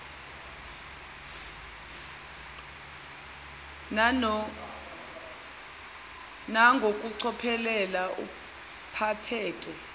nan gokucophelela uphatheke